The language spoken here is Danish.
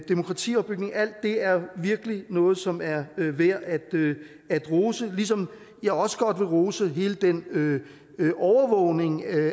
demokratiopbygning alt det er jo virkelig noget som er værd at rose ligesom jeg også godt vil rose hele den overvågning af